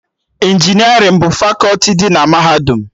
Injinerịn bụ fakọti dị na Mahadum